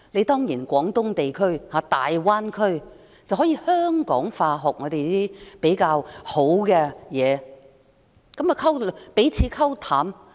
當然，廣東地區或大灣區也可以香港化，學習香港比較有優勢的東西，彼此"溝淡"。